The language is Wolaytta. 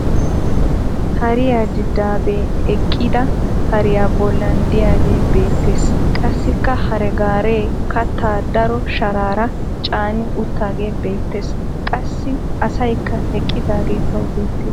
Hariya diddaabbee eqqida hariya bollan diyagee beettes. qassikka hare gaaree kattaa daro sharaara caani uttaagee beettes. Qassi asayikka eqqidaage tawu beettes.